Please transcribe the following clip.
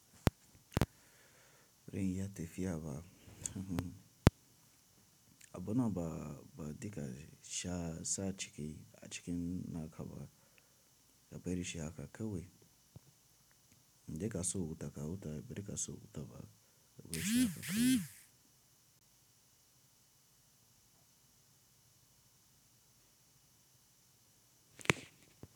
Rini ya tafiya ba, abona ba, ba digashi sha sa ciki a cikin naka ba, ka bari shi haka kawai. Inda ka so wuta ka wuta, inda bai da ka so wuta ba, ka gwaiwa shi haka kawai.